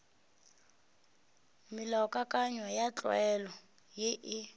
melaokakanywa ya tlwaelo ye e